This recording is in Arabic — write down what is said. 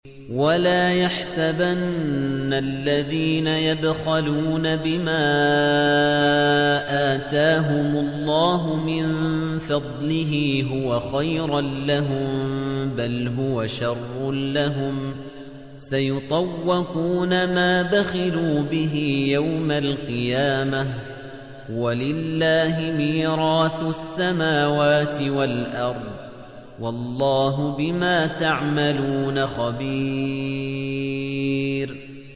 وَلَا يَحْسَبَنَّ الَّذِينَ يَبْخَلُونَ بِمَا آتَاهُمُ اللَّهُ مِن فَضْلِهِ هُوَ خَيْرًا لَّهُم ۖ بَلْ هُوَ شَرٌّ لَّهُمْ ۖ سَيُطَوَّقُونَ مَا بَخِلُوا بِهِ يَوْمَ الْقِيَامَةِ ۗ وَلِلَّهِ مِيرَاثُ السَّمَاوَاتِ وَالْأَرْضِ ۗ وَاللَّهُ بِمَا تَعْمَلُونَ خَبِيرٌ